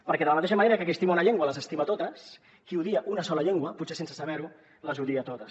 perquè de la mateixa manera que qui estima una llengua les estima totes qui odia una sola llengua potser sense saber ho les odia totes